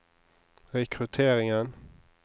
rekrutteringen